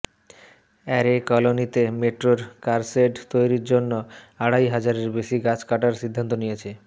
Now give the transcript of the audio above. array কলোনিতে মেট্রোর car shed তৈরির জন্য আড়াই হাজারের বেশি গাছ কাটার সিদ্ধান্ত নিয়েছে